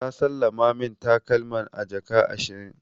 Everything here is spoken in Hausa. Ta sallama min takalman a jaka ashirin.